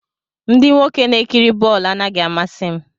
Ndị nwoke na-ekiri bọọlụ anaghị amasị m